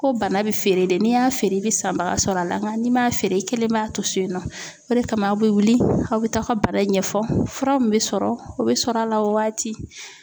Ko bana bɛ feere de n'i y'a feere i bɛ sanbaga sɔrɔ a la nka n'i m'a feere i kelen b'a to so in nɔ o de kama aw bɛ wuli aw bɛ taa a ka bana ɲɛfɔ fura min bɛ sɔrɔ o bɛ sɔrɔ a la o waati.